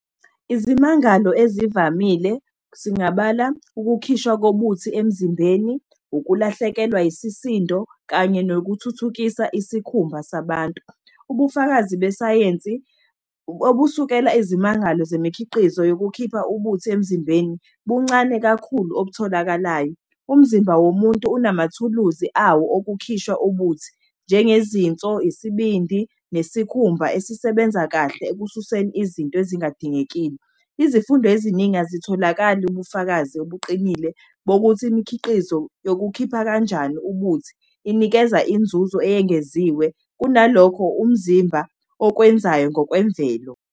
Izimangalo ezivamile, singabala ukukhishwa kobuthi emzimbeni, ukulahlekelwa isisindo kanye nokuthuthukisa isikhumba sabantu. Ubufakazi besayensi obusekela izimangalo zemikhiqizo yokukhipha ubuthi emzimbeni, buncane kakhulu okutholakalayo. Umzimba womuntu unamathuluzi awo okukhishwa ubuthi, njengezinso, isibindi, nesikhumba esisebenza kahle ekususeni izinto ezingadingekile. Izifundo eziningi azitholakali ubufakazi obuqinile bokuthi imikhiqizo yokukhipha kanjani ubuthi inikeza inzuzo eyengeziwe kunalokho umzimba okwenzayo ngokwemvelo.